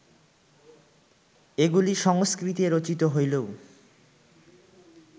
এগুলি সংস্কৃতে রচিত হইলেও